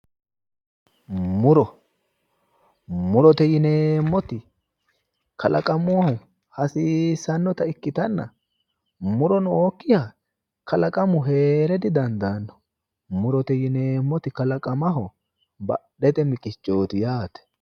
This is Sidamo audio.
Muro. Murite yineemmoti kalaqamunni hasiissannota ikkitanna muro nookkiha kalaqamu heere di dandaanno. Murote yineemmoti kalaqamaho badhete miqichooti yaate.